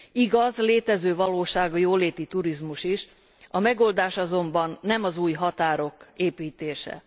Igaz, létező valóság a jóléti turizmus is, a megoldás azonban nem az új határok építése.